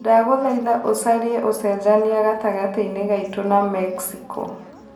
ndagũthaĩtha ũcarĩe ũcenjanĩa gatangati-inĩ ngaitũ na mexico